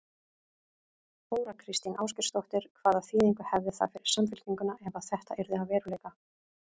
Þóra Kristín Ásgeirsdóttir: Hvaða þýðingu hefði það fyrir Samfylkinguna ef að þetta yrði að veruleika?